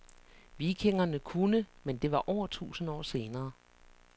Vikingerne kunne, men det var over tusind år senere.